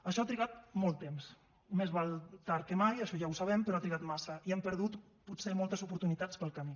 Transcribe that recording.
això ha trigat molt temps més val tard que mai això ja ho sabem però ha trigat massa i hem perdut potser moltes oportunitats pel camí